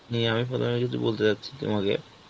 নিয়ে আমি প্রথমে কিছু বলতে যাচ্ছি তোমাকে,